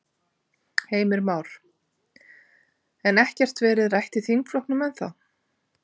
Heimir Már: En ekkert verið rætt í þingflokknum ennþá?